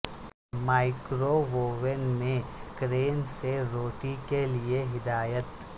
microwave oven میں کرین سے روٹی کے لئے ہدایت